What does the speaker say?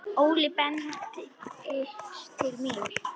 Óli bendir til mín.